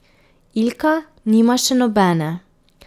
Ilka nima še nobene.